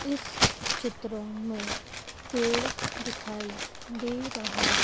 इस चित्र में पेड़ दिखाई दे रहा--